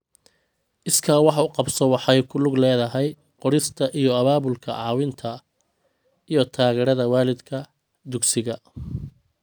Iskaa wax u qabso waxay ku lug leedahay qorista iyo abaabulka caawinta iyo taageerada waalidka, dugsiga.